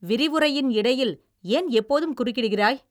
விரிவுரையின் இடையில் ஏன் எப்போதும் குறுக்கிடுகிறாய்?